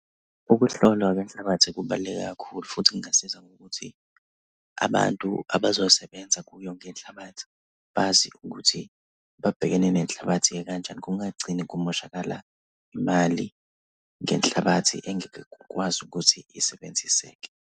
Ukuhlolwa kwenhlabathi kubaluleke kakhulu futhi kungasiza ngokuthi abantu abazosebenza kuyo ngenhlabathi bazi ukuthi babhekene nenhlabathi ekanjani. Kungagcini kumoshakala imali ngenhlabathi engeke kukwazi ukuthi isebenziseke.